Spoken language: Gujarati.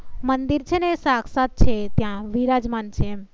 મંદિર છે ને એ સાક્ષાત્ છે ત્યાં વિરાજમાન છે એમ